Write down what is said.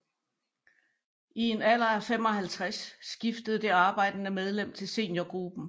I en alder af 55 skifter det arbejdende medlem til seniorgruppen